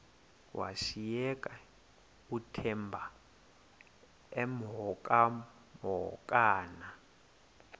washiyeka uthemba emhokamhokana